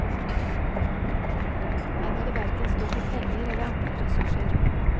Her må det hverken stå på penger eller andre ressurser.